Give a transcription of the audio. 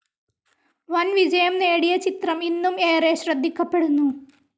വൻ വിജയം നേടിയ ചിത്രം ഇന്നും ഏറെ ശ്രദ്ധിക്കപ്പെടുന്നു.